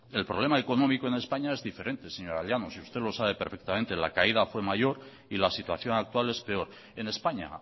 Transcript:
el problema económico en españa es diferente señora llanos y usted lo sabe perfectamente la caída fue mayor y la situación actual es peor en españa